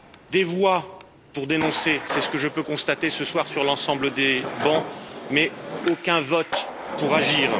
Des voix pour dénoncer, c'est ce que je peux constater ce soir sur l'ensemble des bancs, mais aucun vote pour agir.